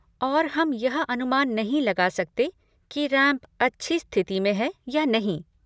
और हम यह अनुमान नहीं लगा सकते कि रैंप अच्छी स्थिति में है या नहीं।